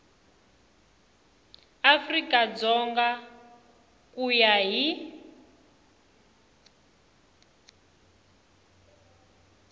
afrika dzonga ku ya hi